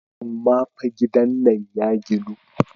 Amma fa gidan nan ya ginu.